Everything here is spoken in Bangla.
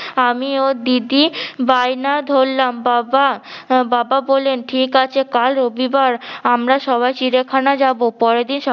আমি ও দিদি বায়না ধরলাম বাবা বাবা বলেন ঠিকাছে কাল রবিবার আমরা সবাই চিড়িয়াখানা যাবো। পরেরদিন সকাল~